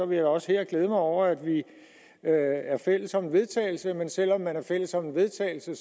vil også her glæde mig over at vi er er fælles om en vedtagelse men selv om man er fælles om en vedtagelse